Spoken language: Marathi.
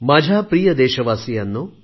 माझ्या प्रिय देशवासियांनो